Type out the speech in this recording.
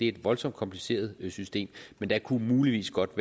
et voldsomt kompliceret system men der kunne muligvis godt